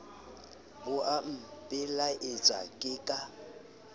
bo a mpelaetsa ke ka